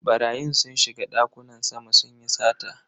Barayin sun shiga dakunan sama sunyi sata.